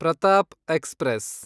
Pratap express